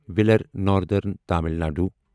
wheeler northern Tamil Nadu